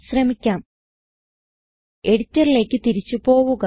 ശ്രമിക്കാം എഡിറ്ററിലേക്ക് തിരിച്ചു പോവുക